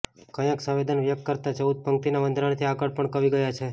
ક્યાંક સંવેદનને વ્યકત કરતાં ચૌદ પંક્તિના બંધારણથી આગળ પણ કવિ ગયા છે